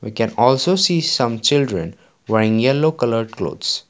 we can also see some children wearing yellow colour clothes.